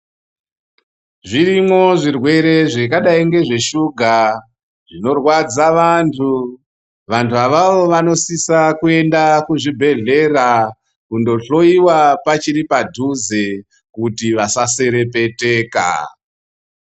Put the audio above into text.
Zvirimwo zvirwere zvakadai ngezveshuga zvinorwadza vantu. Vantu avavo vanosisa kuenda kuzvibhedhlera kundohloiwa pachiri padhuze kuti vasa. serepeteka.